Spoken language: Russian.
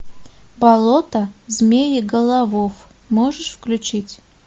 болото змееголовов можешь включить